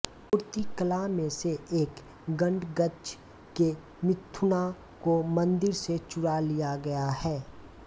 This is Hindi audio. मूर्तिकला में से एक गड़गच के मिथुना को मंदिर से चुरा लिया गया है